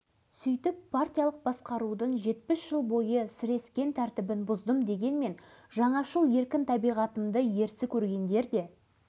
қызметке кіріскен сәтімнен бастап өзімді халықпен де аппарат қызметкерлерімен де тең жағдайда ұстап ашық әңгімелесуге ұмтылдым